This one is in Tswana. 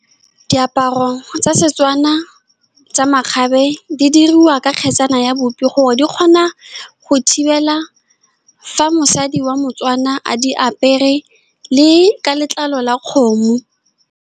Diaparo tsa setswana tsa makgabe di diriwa ke kgetsana ya bupi, gore di kgona go thibela fa mosadi wa motswana a di apere, le ka letlalo la kgomo.